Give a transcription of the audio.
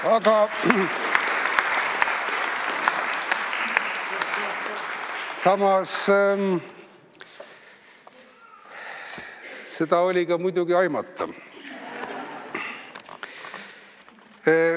Aga samas, seda oli muidugi aimata.